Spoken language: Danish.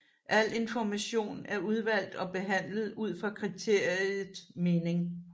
Al information er udvalgt og behandlet ud fra kriteriet mening